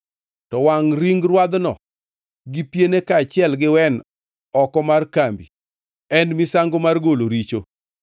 To wangʼ ring rwadhno gi piene kaachiel gi wen oko mar kambi. En misango mar golo richo.